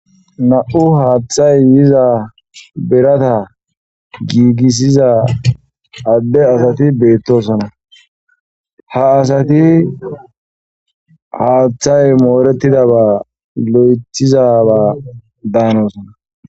Na'u hathay yiza birata gigisiza ade asati betosona ha asati hathay moretidaba loytizaba danosona.